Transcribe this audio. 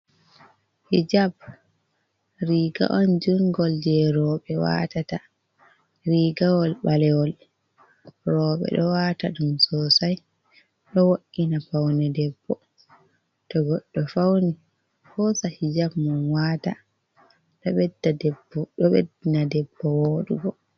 Hijab riga’on judngol je roɓe watata, rigawol ɓalewol roɓe ɗo wata ɗum sosai do wo’’ina paune debbo, to goɗɗo fauni hosa hijab mum wata ɗo ɓeddi na debbo wodugo.